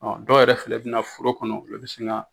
Ɔ dɔw yɛrɛ filɛ bɛna foro kɔnɔ lo bin sin ka.